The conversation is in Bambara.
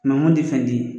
Mangoro tɛ fɛn di ye